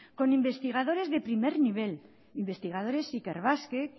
con investigadores de primer nivel investigadores ikerbasque